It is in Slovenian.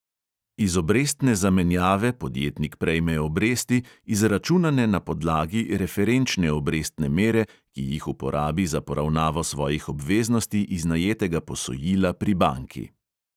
Iz obrestne zamenjave podjetnik prejme obresti, izračunane na podlagi referenčne obrestne mere, ki jih uporabi za poravnavo svojih obveznosti iz najetega posojila pri banki.